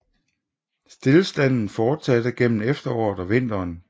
Stilstanden fortsatte gennem efteråret og vinteren